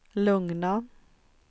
lugna